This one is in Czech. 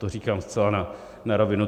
To říkám zcela na rovinu.